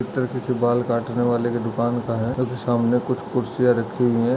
चितर (चित्र) किसी बाल काटने वाले के दुकान का है क्युकी (क्योंकि) सामने कुछ कुर्सियाँ रखी हुई हैं।